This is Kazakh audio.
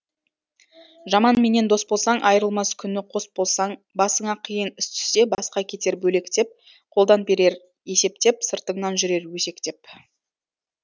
жаманменен дос болсаң айрылмас күні қос болсаң басыңа қиын іс түссе басқа кетер бөлектеп қолдан берер есептеп сыртыңнан жүрер өсектеп